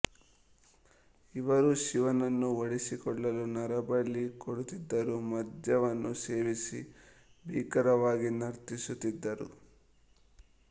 ಇವರು ಶಿವನನ್ನು ಒಲಿಸಿಕೊಳ್ಳಲು ನರಬಲಿ ಕೊಡುತ್ತಿದ್ದರು ಮದ್ಯವನ್ನು ಸೇವಿಸಿ ಭೀಕರವಾಗಿ ನರ್ತಿಸುತ್ತಿದ್ದರು